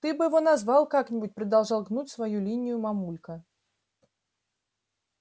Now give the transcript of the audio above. ты бы его назвал как-нибудь продолжал гнуть свою линию мамулька